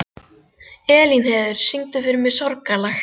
Elínheiður, syngdu fyrir mig „Sorgarlag“.